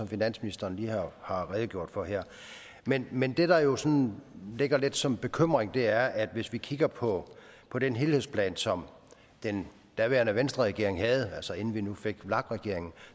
finansministeren lige har redegjort for her men men det der jo sådan ligger lidt som en bekymring er at hvis vi kigger på på den helhedsplan som den daværende venstreregering havde altså inden vi nu fik vlak regeringen